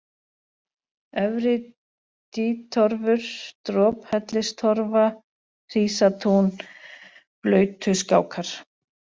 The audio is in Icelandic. Efri-Dýtorfur, Drophellistorfa, Hrísatún, Blautuskákar